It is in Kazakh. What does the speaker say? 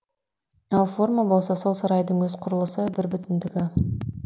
ал форма болса сол сарайдың өз құрылысы бірбүтіндігі